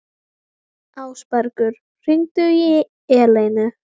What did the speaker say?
Ásbergur, hringdu í Eleinu.